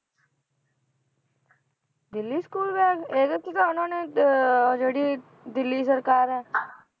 Delhi school bag ਇਹਦੇ 'ਚ ਤਾਂ ਉਹਨਾਂ ਨੇ ਅਹ ਜਿਹੜੀ ਦਿੱਲੀ ਸਰਕਾਰ ਹੈ